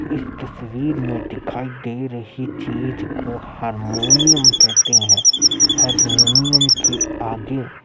इस तस्वीर में दिखाई दे रही चीज को हरमोनियम कहते हैं हरमोनियम के आगे --